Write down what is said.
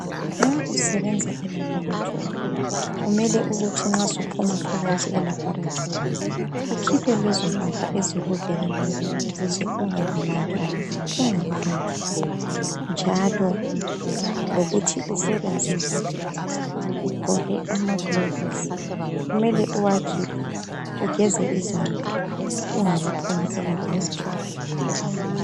Nxa usebenza elabhorathori kumele ukuthi nxa suphuma phakathi elabhorathori, ukhiphe lezo impahla lezi ezikuvikelayo ukuze ungalimali ungaphandlwa, njalo lokuthi usebenze kuhle ugqoke amagilovisi kumele uwakhiphe ugeze izandla ungakaphumi elabhorathori.